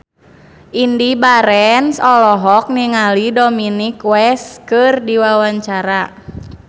Indy Barens olohok ningali Dominic West keur diwawancara